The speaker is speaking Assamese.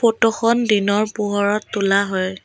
ফটোখন দিনৰ পোহৰত তোলা হয়।